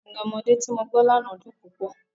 Orin ọmọdé tí mo gbọ́ lánàá dùn púpọ̀.